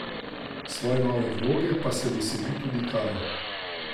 Svoje nove vloge pa se veseli tudi Kaja.